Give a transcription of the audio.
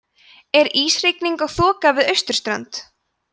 er ísrigning og þoka við austurlönd